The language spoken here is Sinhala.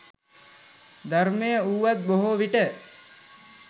ධර්මය වුවත් බොහෝ විට